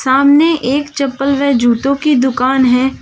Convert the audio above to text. सामने एक चप्पल व जूतों की दुकान है।